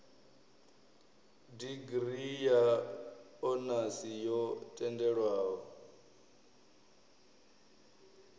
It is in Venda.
digirii ya onasi yo tendelwaho